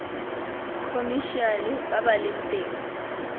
khomešiale ba ba leng teng